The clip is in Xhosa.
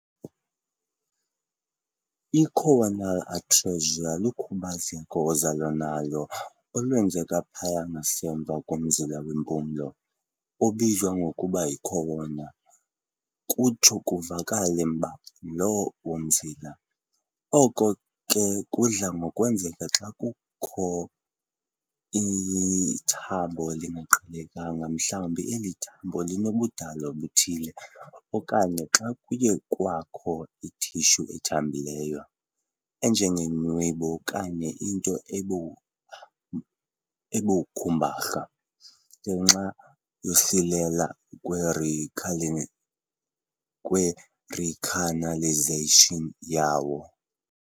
I-Choanal atresia lukhubazeko ozalwa nalo olwenzeka phaya ngasemva komzila wempumlo, obizwa ngokuba yi-choana, kutsho kuvaleke mba lo mzila, oko ke kudla ngokwenzeka xa kuthe kwakho ithambo elingaqhelekanga mhlawubi eli thambo linobudalwa obuthile, okanye xa kuye kwakho i-tissue ethambileyo, enjengenwebu okanye into ebu ebukhumbarha, ngenxa yokusilela kwerecani kwe-recanalization yawo